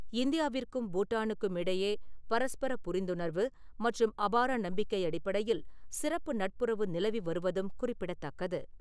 இந்தியாவிற்கும் பூட்டானுக்கும் இடையே பரஸ்பர புரிந்துணர்வு மற்றும் அபார நம்பிக்கை அடிப்படையில் சிறப்பு நட்புறவு நிலவி வருவதும் குறிப்பிடதக்கது.